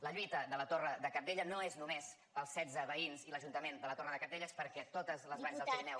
la lluita de la torre de cabdella no és només pels setze veïns i l’ajuntament de la torre de cabdella és perquè totes les valls del pirineu